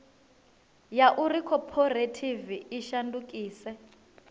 ya uri khophorethivi i shandukise